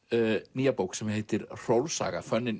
nýja bók sem heitir Hrólfs saga